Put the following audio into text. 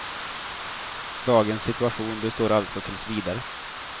Dagens situation består alltså tills vidare.